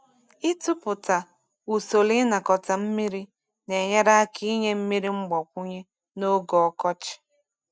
Ịtụpụta usoro ịnakọta mmiri na-enyere aka inye mmiri mgbakwunye n’oge ọkọchị.